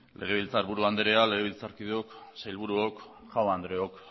legebiltzarburu andrea legebiltzarkideok sailburuok jaun andreok